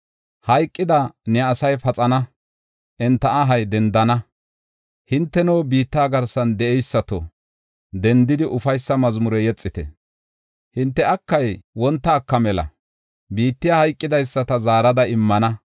Hayqida ne asay paxana; enta ahay dendana. Hinteno, biitta garsan de7eysato, dendidi ufaysa mazmure yexite. Hinte akay wonta aka mela; biittiya hayqidaysata zaarada immana.